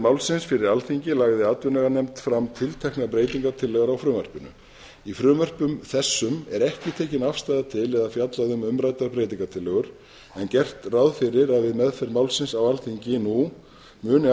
málsins fyrir alþingi lagði atvinnuveganefnd fram tilteknar breytingartillögur á frumvarpinu í frumvörpum þessum er ekki tekin afstaða til eða fjallað um umræddar breytingartillögur en gert ráð fyrir að við meðferð málsins á alþingi nú muni